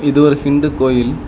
இது ஒரு ஹிந்து கோயில்.